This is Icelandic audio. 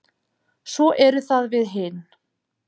Svo erum það við hin.